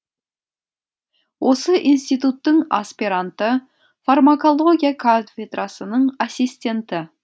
осы институттың аспиранты фармакология кафедрасының ассистенті